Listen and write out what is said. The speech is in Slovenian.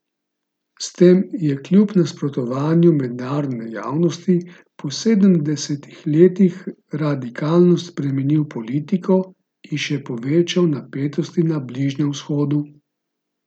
S tem je kljub nasprotovanju mednarodne javnosti po sedemdesetih letih radikalno spremenil politiko in še povečal napetosti na Bližnjem vzhodu.